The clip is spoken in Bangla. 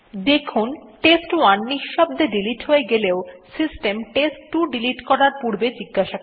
দেখুন টেস্ট1 নিঃশব্দে ডিলিট হয়ে গেলেও সিস্টেম টেস্ট2 ডিলিট করার পূর্বে জিজ্ঞাসা করে